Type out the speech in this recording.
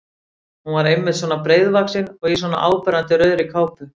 Hún var einmitt svona breiðvaxin og í svona áberandi rauðri kápu!